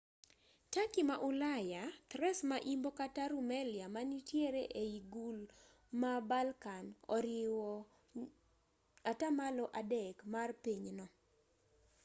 turkey ma ulaya thrace ma imbo kata rumelia manitiere ei gul ma balkan oriwo 3% mar pinyno